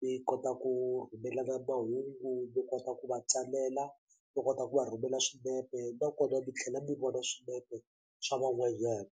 mi kota ku rhumela na mahungu mi kota ku va tsalela mi kota ku va rhumela swinepe nakona mi tlhela mi vona swinepe swa van'wanyana.